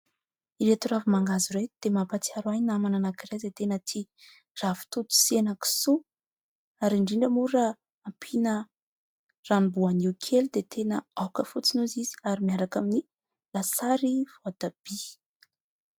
Ireto ravi-mangahazo ireto dia mampahatsiaro ahy namana anankiray izay tena tia ravitoto sy henakisoa ary indrindra moa raha ampiana ranom-boanio kely dia tena aoka fotsiny hoy izy ary miaraka amin'ny lasary voatabia.